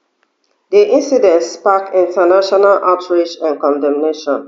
di incident spark international outrage and condemnation